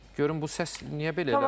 Görüm bu səs niyə belə elədi.